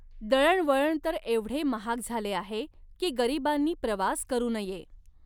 दळणवळण तर एवढे महाग झाले आहे की, गरीबांनी प्रवास करु नये.